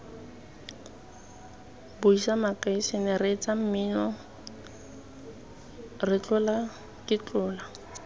buisa makasine reetsa mmino ketlolaketlola